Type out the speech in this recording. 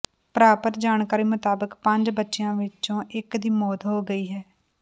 ਪ੍ਰਾਪਤ ਜਾਣਕਾਰੀ ਮੁਤਾਬਕ ਪੰਜ ਬੱਚਿਆਂ ਵਿੱਚੋਂ ਇੱਕ ਦੀ ਮੌਤ ਹੋ ਗਈ